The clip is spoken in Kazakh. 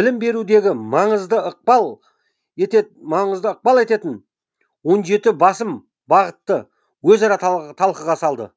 білім берудегі маңызды ықпал ететін ететін он жеті басым бағытты өзара талқыға салды